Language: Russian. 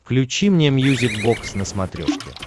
включи мне мьюзик бокс на смотрешке